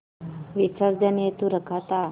विसर्जन हेतु रखा था